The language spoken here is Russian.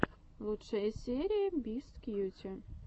лучшая серия бисткьюти